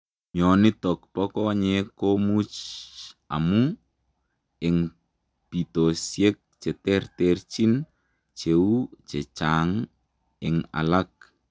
Mionitook poo konyeek komuuch amuu eng pitosiek cheterterchiin cheuu chechaang eng alak